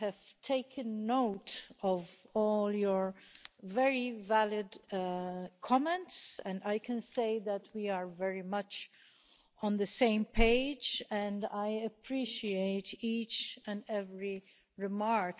I have taken note of all your very valid comments, and I can say that we are very much on the same page and I appreciate each and every remark.